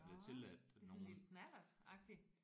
Nåh det er sådan en lille knallert agtig